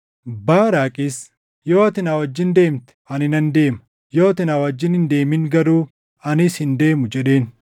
Baaraaqis, “Yoo ati na wajjin deemte, ani nan deema; yoo ati na wajjin hin deemin garuu anis hin deemu” jedheen.